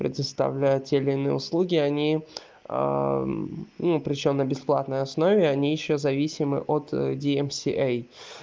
предоставляет те или иные услуги они ну причём на бесплатной основе они ещё зависимы от ди си эй